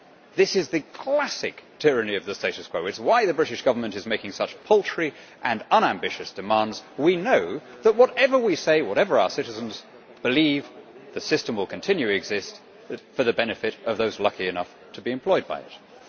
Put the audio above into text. This is the classic tyranny of the status quo it is why the British Government is making such paltry and unambitious demands. We know that, whatever we say, whatever our citizens believe, the system will continue to exist for the benefit of those lucky enough to be employed by it.